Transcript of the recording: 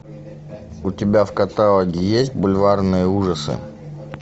у тебя в каталоге есть бульварные ужасы